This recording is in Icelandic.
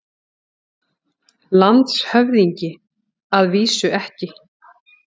LANDSHÖFÐINGI: Að vísu ekki.